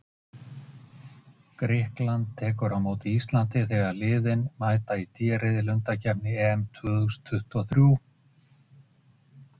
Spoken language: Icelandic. Því bara hann má.